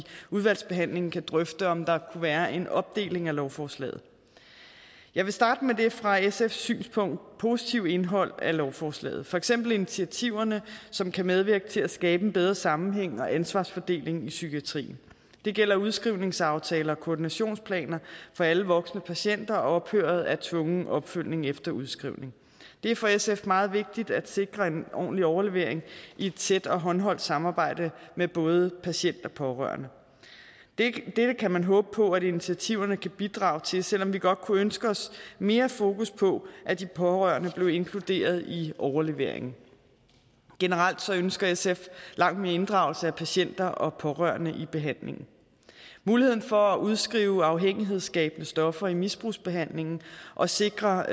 udvalgsbehandlingen kan drøfte om der kunne være en opdeling af lovforslaget jeg vil starte med det fra sfs synspunkt positive indhold af lovforslaget for eksempel initiativerne som kan medvirke til at skabe en bedre sammenhæng og ansvarsfordeling i psykiatrien det gælder udskrivningsaftaler koordinationsplaner for alle voksne patienter og ophøret af tvungen opfølgning efter udskrivning det er for sf meget vigtigt at sikre en ordentlig overlevering i et tæt og håndholdt samarbejde med både patient og pårørende dette kan man håbe på at initiativerne kan bidrage til selv om vi godt kunne ønske os mere fokus på at de pårørende blev inkluderet i overleveringen generelt ønsker sf langt mere inddragelse af patienter og pårørende i behandlingen muligheden for at udskrive afhængighedsskabende stoffer i misbrugsbehandlingen og sikre